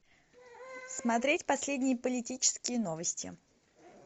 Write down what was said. смотреть последние политические новости